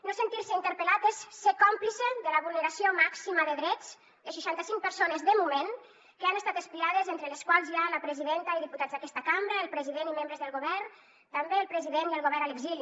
no sentir se interpel·lat és ser còmplice de la vulneració màxima de drets de seixanta cinc persones de moment que han estat espiades entre les quals hi ha la presidenta i diputats d’aquesta cambra el president i membres del govern també el president i el govern a l’exili